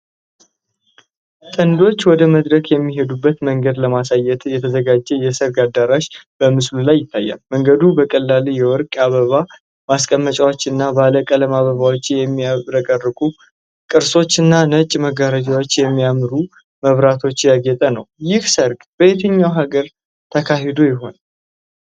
ጥንዶች ወደ መድረክ የሚሄዱበትን መንገድ ለማሳየት የተዘጋጀ የሰርግ አዳራሽ በምስሉ ላይ ይታያል። መንገዱ በትላልቅ የወርቅ የአበባ ማስቀመጫዎች እና ባለቀለም አበባዎች በሚያብረቀርቁ ቅስቶችና ነጭ መጋረጃዎች በሚያማምሩ መብራቶች ያጌጠ ነው። ይህ ሰርግ በየትኛው ሀገር ተካሂዶ ይሆናል?